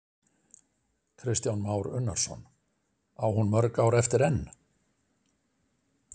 Kristján Már Unnarsson: Á hún mörg ár eftir enn?